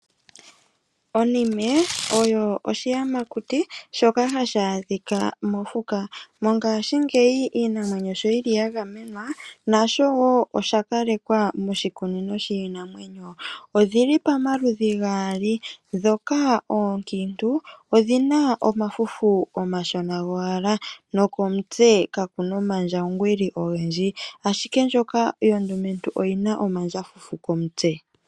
Oniime oyo oshiyamakuti shoka hashi adhika mofuka, mongashi ngeyi Iinamwenyo sho yili yagamenwa nasho wo oshakalekwa moshikunino shinamwenyo, odhili pomaludhi gaali, ndhoka onkiintu odhina omafufu okashona ngowala nokomutse kakuna omandjangwilili ongendji ashike ndjoka ondumetu oyina omandjafufu komutse.